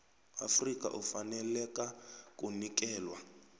afrika ufaneleka kunikelwa